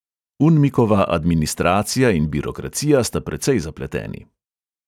Unmikova administracija in birokracija sta precej zapleteni.